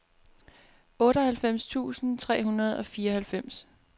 otteoghalvfems tusind tre hundrede og fireoghalvfems